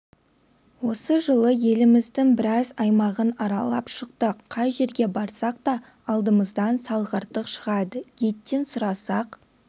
осы жылы еліміздің біраз аймағын аралап шықтық қай жерге барсақ та алдымыздан салғырттық шығады гидтен сұрасақ